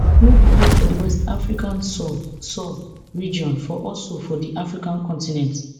no be only for di west africa sub sub region for also for di african continent